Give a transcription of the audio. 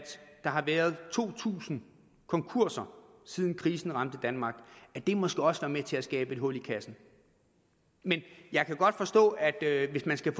der har været to tusind konkurser siden krisen ramte danmark og at det måske også har været med til at skabe et hul i kassen men jeg kan godt forstå at hvis man skal